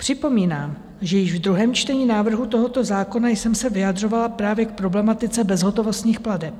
Připomínám, že již v druhém čtení návrhu tohoto zákona jsem se vyjadřovala právě k problematice bezhotovostních plateb.